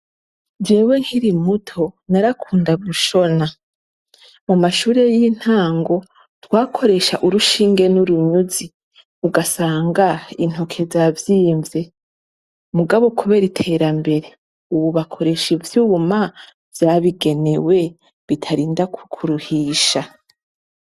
Jewe nkirimuto, narakunda gushona, mumashure y'intago twakoresha urushinge n'urunyuzi ugasanga intoke zavyimmvye. Mugabo kubera iterambere ububakoresha ivyuma vyabigenewe bitarinda kukuruhisha.